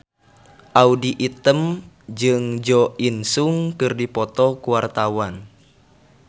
Audy Item jeung Jo In Sung keur dipoto ku wartawan